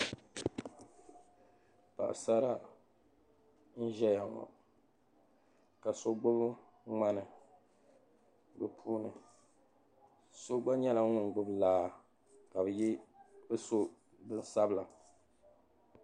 Paɣasara n-ʒeya ŋɔ ka so gbubi ŋmani be puuni so gba nyɛla ŋun gbubi laa ka be so bin'sabila.